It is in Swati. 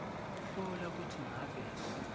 hlola kutsi ngabe